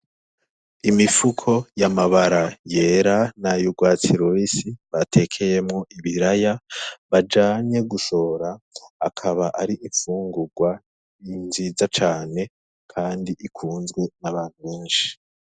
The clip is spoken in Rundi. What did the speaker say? Imifuko y'amabara yera nay'urwatsi rubisi batekeyemwo ibiraya bajanye gushora, akaba ari imfungurwa nziza cane kandi ikunzwe n'abantu benshi.